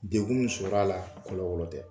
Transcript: Degun min sɔrɔ a la kɔlɔ kɔlɔ tɛ.